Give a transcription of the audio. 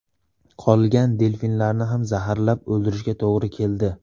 Qolgan delfinlarni ham zaharlab o‘ldirishga to‘g‘ri keldi.